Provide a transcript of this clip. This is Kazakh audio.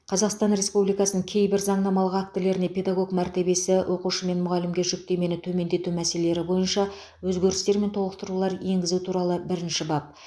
қазақстан республикасының кейбір заңнамалық актілеріне педагог мәртебесі оқушы мен мұғалімге жүктемені төмендету мәселелері бойынша өзгерістер мен толықтырулар енгізу туралы бірінші бап